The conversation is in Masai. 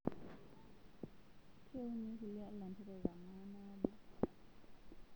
Keuni nkulie lanterera manaabo